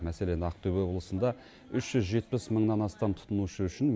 мәселен ақтөбе облысында үш жүз жетпіс мыңнан астам тұтынушы үшін